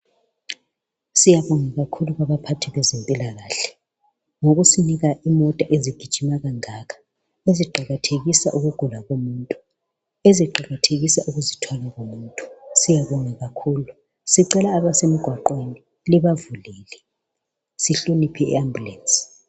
Siyabonga kakhulu kubaphathi bezempilakahle ngokusinika izimota ezithwala izigulane. Lezi izimota zilusizo kakhuku ngoba ziyasiza kakhulu abaphathekileyo. Sicela sizihloniphe lezizimota, sizivulele njani emigwaqweni zidlule.